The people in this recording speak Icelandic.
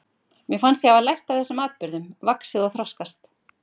Mér fannst ég hafa lært af þessum atburðum, vaxið og þroskast.